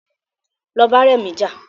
Lọ bá rẹmi jà